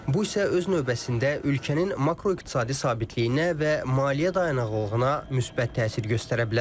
Bu isə öz növbəsində ölkənin makroiqtisadi sabitliyinə və maliyyə dayanıqlığına müsbət təsir göstərə bilər.